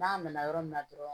N'a nana yɔrɔ min na dɔrɔn